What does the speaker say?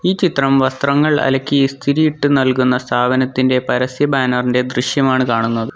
ഈ ചിത്രം വസ്ത്രങ്ങൾ അലക്കി ഇസ്തിരിയിട്ട് നൽകുന്ന സ്ഥാപനത്തിന്റെ പരസ്യ ബാനർ ഇന്റെ ദൃശ്യമാണ് കാണുന്നത്.